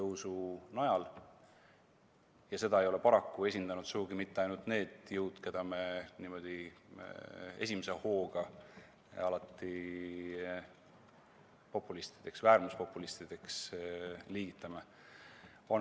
Ja seda ei ole paraku esindanud sugugi mitte ainult need jõud, keda me alati esimese hooga populistideks või äärmuspopulistideks liigitame.